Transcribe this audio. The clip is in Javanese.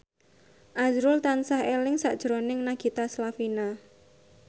azrul tansah eling sakjroning Nagita Slavina